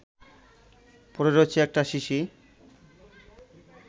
পড়ে রয়েছে একটা শিশি